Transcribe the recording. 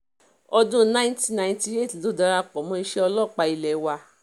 ọdún 1998 ló darapọ̀ mọ́ iṣẹ́ ọlọ́pàá ilé wa